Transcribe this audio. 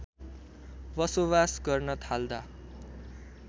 बसोवास गर्न थाल्दा